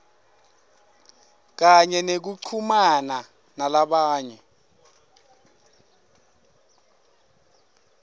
kanye nekuchumana nalamanye